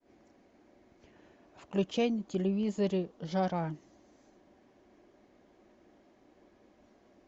включай на телевизоре жара